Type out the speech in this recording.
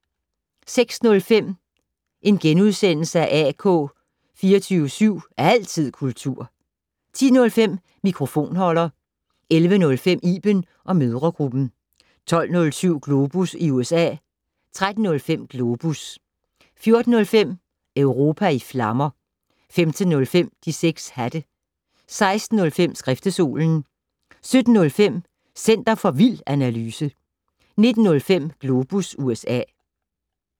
06:05: AK 24syv. Altid kultur * 10:05: Mikrofonholder 11:05: Iben & mødregruppen 12:07: Globus i USA 13:05: Globus 14:05: Europa i flammer 15:05: De 6 hatte 16:05: Skriftestolen 17:05: Center for vild analyse 19:05: Globus USA